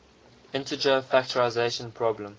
integer factorization problem